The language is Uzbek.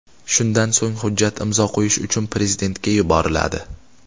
Shundan so‘ng, hujjat imzo qo‘yish uchun prezidentga yuboriladi.